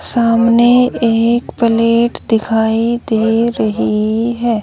सामने एक प्लेट दिखाई दे रही है।